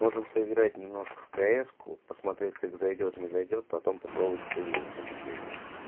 можем поиграть немножко в каэску посмотреть как зайдёт не зайдёт потом попробовать с и вилку например